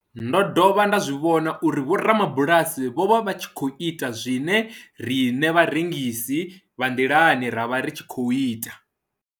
Ndo dovha nda zwi vhona uri vhorabulasi vho vha vha tshi khou ita zwe riṋe vharengisi vha nḓilani ra vha ri tshi khou ita.